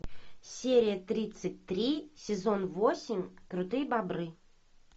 серия тридцать три сезон восемь крутые бобры